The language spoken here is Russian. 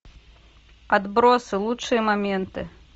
отбросы лучшие моменты